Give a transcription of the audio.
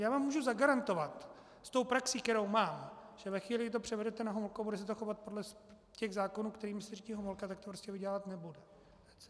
Já vám můžu zagarantovat s tou praxí, kterou mám, že ve chvíli, kdy to převedete na Homolku, bude se to chovat podle těch zákonů, kterými se řídí Homolka, tak to prostě vydělávat nebude.